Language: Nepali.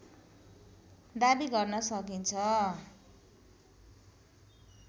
दाबी गर्न सकिन्छ